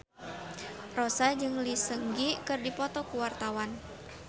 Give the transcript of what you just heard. Rossa jeung Lee Seung Gi keur dipoto ku wartawan